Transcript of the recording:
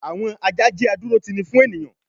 àwọn ajá jẹ́ adúrótini fún ènìyàn